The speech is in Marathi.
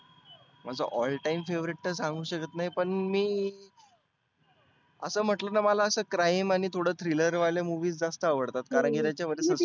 माझा all time favorite तर सांगु शकत नाही पण मी. आसं म्हटलंं ना मला असं crime आणि थोड thriller वाले movies जास्त आवडतात कारण की त्याच्या वर